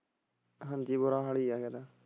ਹਾਂਜੀ ਬੁਰਾ ਹਾਲ ਹੀ ਹੈ ਫਿਰ।